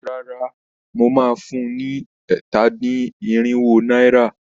Rárá, mo máa fun ni ẹ̀ta-dín-irinwo náírà.